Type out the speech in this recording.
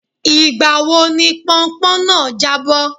Ìgbà wo ni pọnpọ́n náà jábọ́?